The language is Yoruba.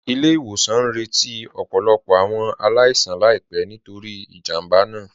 Ilẹ̀-ìwòsàn ñ rẹ̀tí ọ̀pọ̀lọ̀pọ̀ awọn aláìsàn láìpẹ̀ nítorí ìjámbá náà